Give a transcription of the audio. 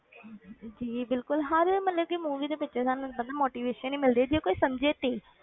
ਜੀ ਬਿਲਕੁਲ ਹਰ ਮਤਲਬ ਕਿ movie ਦੇ ਵਿੱਚੋਂ ਸਾਨੂੰ ਪਤਾ motivation ਹੀ ਮਿਲਦੀ ਹੈ ਜੇ ਕੋਈ ਸਮਝੇ ਤੇ,